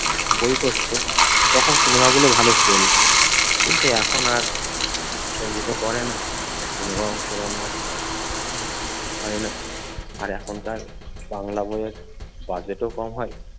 বই করতো তখন সিনেমাগুলো ভালো চলতো। কিন্তু এখন আর প্রসেনজিতও করে না সিনেমাও সেরকমভাবে হয় না। আর এখনকার বাংলা বইয়ের বাজেটও কম হয়।